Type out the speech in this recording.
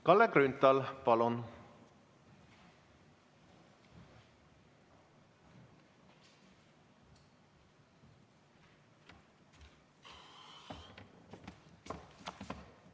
Kalle Grünthal, palun!